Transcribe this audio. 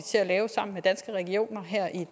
til at lave sammen med danske regioner her i